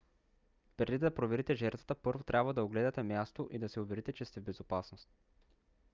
преди да проверите жертвата първо трябва да огледате мястото и да се уверите че сте в безопасност